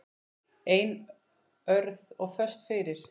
Einörð og föst fyrir.